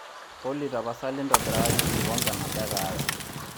olly tapasali intobirakaki enkikombe nabo ee kahawa